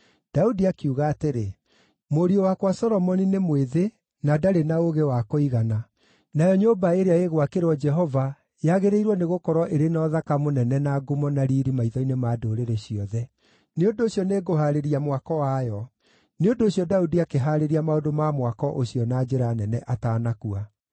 Daudi akiuga atĩrĩ, “Mũriũ wakwa Solomoni nĩ mwĩthĩ na ndarĩ na ũũgĩ wa kũigana, nayo nyũmba ĩrĩa ĩgwakĩrwo Jehova yagĩrĩirwo nĩgũkorwo ĩrĩ na ũthaka mũnene na ngumo na riiri maitho-inĩ ma ndũrĩrĩ ciothe. Nĩ ũndũ ũcio nĩ ngũhaarĩria mwako wayo.” Nĩ ũndũ ũcio Daudi akĩhaarĩria maũndũ ma mwako ũcio na njĩra nene atanakua.